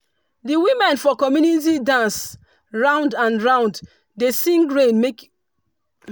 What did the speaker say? di women for community dance round and round dey sing rain make